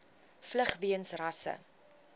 vlug weens rasse